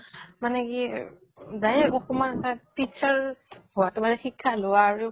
মানে কি অকমান teacher হোৱাতো মানে শিক্ষা লোৱা আৰু